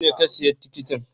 Nawa ne ka siya tikitin?